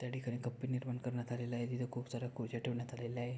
त्याठिकाणी कप्पे निर्माण करण्यात आलेले आहे तिथे खूप साऱ्या कोज्या ठेवण्यात आलेल्या आहे.